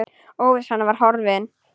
Óvissan var horfin.